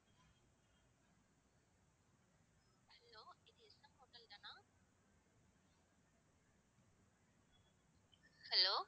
hello